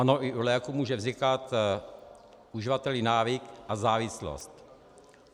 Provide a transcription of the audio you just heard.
Ano, i u léků může vznikat uživateli návyk a závislost.